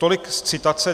Tolik z citace.